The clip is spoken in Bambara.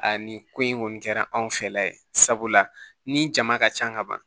Aa nin ko in kɔni kɛra anw fɛla ye sabula ni jama ka ca ka ban